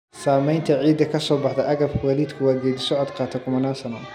Samaynta ciidda ka soo baxda agabka waalidku waa geedi socod qaada kumanaan sano.